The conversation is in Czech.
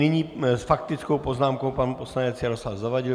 Nyní s faktickou poznámkou pan poslanec Jaroslav Zavadil.